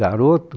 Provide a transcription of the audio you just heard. Garoto.